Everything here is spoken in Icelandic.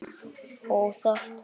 Og óþarft!